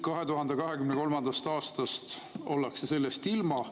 2023. aastast ollakse sellest ilma.